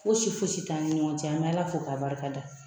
Fosi foyi tɛ an ni ɲɔgɔn cɛ an bɛ Ala fo k'a barikada